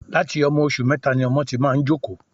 Láti ọmọ oṣù mẹta ni ọmọ ti máa ń jókòó